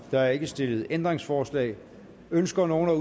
der er ikke stillet ændringsforslag ønsker nogen at